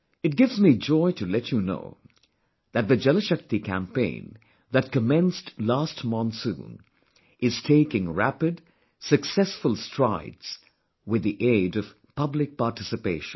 It gives me joy to let you know that the JalShakti Campaign that commenced last monsoon is taking rapid, successful strides with the aid of public participation